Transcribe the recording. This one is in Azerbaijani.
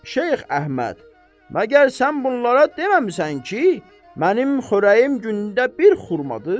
Şeyx Əhməd, məgər sən bunlara deməmisən ki, mənim xörəyim gündə bir xurmadır?